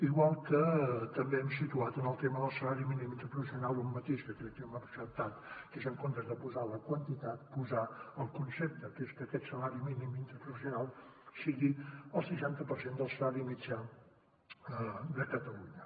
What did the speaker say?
igual que també hem situat en el tema del salari mínim interprofessional un matís que crec que m’ha acceptat que és en comptes de posar la quantitat posar el concepte que és que aquest salari mínim interprofessional sigui el seixanta per cent del salari mitjà de catalunya